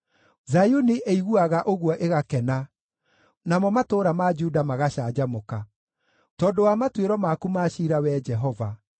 Zayuni ĩiguaga ũguo ĩgakena, namo matũũra ma Juda magacanjamũka, tondũ wa matuĩro maku ma ciira, Wee Jehova.